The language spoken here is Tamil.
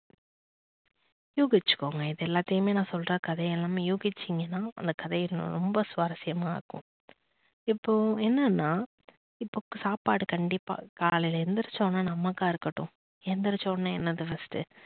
யூகிச்சுக்கோங்க இது எல்லாத்தையும் நான் சொல்ற கதை எல்லாமே யுவிச்சீங்கன்னா அந்த கதை ரொம்ப சுவாரஸ்யமா இருக்கும். இப்போ என்னன்னா இப்போ சாப்பாடு கண்டிப்பா காலைல எந்திரிச்ச உடனே நமக்கா இருக்கட்டும் எந்திரிச்ச உடனே என்னது first ட்டு